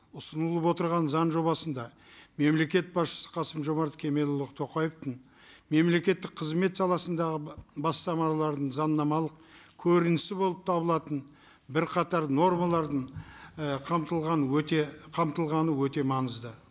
ұсынылып отырған заң жобасында мемлекет басшысы қасым жомарт кемелұлы тоқаевтың мемлекеттік қызмет саласындағы бастамаларының заңнамалық көрінісі болып табылатын бірқатар нормалардың і қамтылғаны өте қамтылғаны өте маңызды